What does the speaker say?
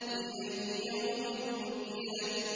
لِأَيِّ يَوْمٍ أُجِّلَتْ